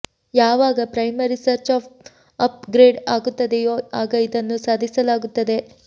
ಯಾವಾಗ primary search app upgrade ಆಗುತ್ತದೆಯೋ ಆಗ ಇದನ್ನು ಸಾಧಿಸಲಾಗುತ್ತದೆ